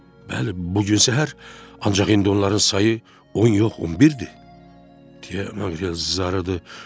Bəli, bu gün səhər, ancaq indi onların sayı on yox, on birdir, deyə Maqrel zarıdı.